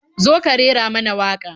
Zo ka rera mana waƙa.